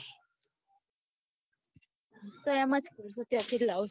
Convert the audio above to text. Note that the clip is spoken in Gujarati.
હું તો એમ જ કવું ત્યાં થી જ લાવું